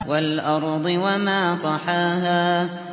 وَالْأَرْضِ وَمَا طَحَاهَا